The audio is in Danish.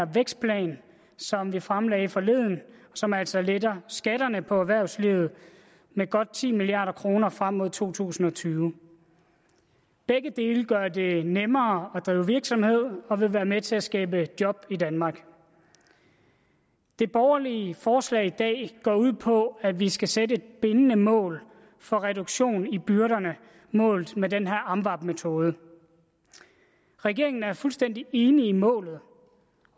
vækstplan som vi fremlagde forleden som altså letter skatterne for erhvervslivet med godt ti milliard kroner frem mod to tusind og tyve begge dele gør det nemmere at drive virksomhed og vil være med til at skabe job i danmark det borgerlige forslag i dag går ud på at vi skal sætte et bindende mål for reduktion af byrderne målt med den her amvab metode regeringen er fuldstændig enig i målet